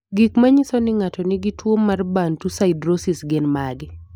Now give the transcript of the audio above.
Gik manyiso ni ng'ato nigi tuwo mar Bantu siderosis gin mage?